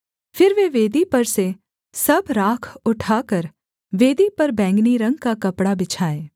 फिर वे वेदी पर से सब राख उठाकर वेदी पर बैंगनी रंग का कपड़ा बिछाएँ